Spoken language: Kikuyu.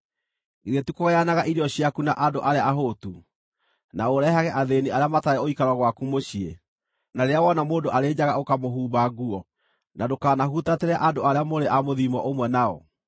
Githĩ ti kũgayanaga irio ciaku na andũ arĩa ahũtu, na ũrehage athĩĩni arĩa matarĩ ũikaro gwaku mũciĩ, na rĩrĩa wona mũndũ arĩ njaga ũkamũhumba nguo, na ndũkanahutatĩre andũ arĩa mũrĩ a mũthiimo ũmwe nao?